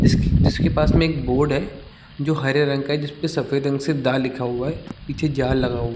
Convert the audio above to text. जिसकी जिसके पास में एक बोर्ड है जो हरे रंग का है जिसपे सफ़ेद रंग से दा लिखा हुआ है पीछे जाल लगा हु--